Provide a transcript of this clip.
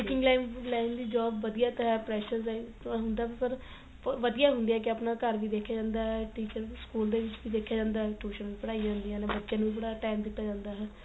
teaching line ਦੀ job ਵਧੀਆ ਤਾਂ ਹੈ pressure ਤਾਂ ਹੁੰਦਾ ਪਰ ਵਧੀਆ ਹੁੰਦੀ ਏ ਕੀ ਆਪਣਾ ਘਰ ਵੀ ਦੇਖਿਆ ਜਾਂਦਾ teacher school ਦੇ ਵਿੱਚ ਵੀ ਦੇਖਿਆ ਜਾਂਦਾ tuition ਵੀ ਪੜਾਈ ਜਾਂਦੀਆ ਨੇ ਬੱਚੇ ਨੂੰ ਵੀ ਥੋੜਾ time ਦਿੱਤਾ ਜਾਂਦਾ